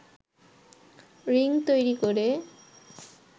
ring তৈরি করে